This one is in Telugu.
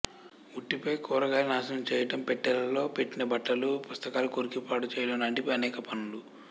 ఉట్టిపై కూరగాయలు నాశనం చేయడం పెట్టెలలో పెట్టిన బట్టలు పుస్తకాలు కొరికి పాడు చేయడం లాంటి అనేక పనులు